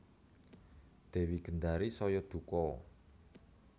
Dewi Gendari saya duka